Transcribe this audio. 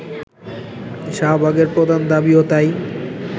শাহবাগের প্রধান দাবিও তাই